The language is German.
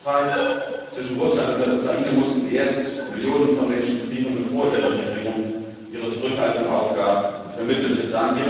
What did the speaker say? Im Gasstreit zwischen Russland und der Ukraine mussten erst Millionen von Menschen frieren, bevor Ihre Regierung ihre Zurückhaltung aufgab und vermittelte.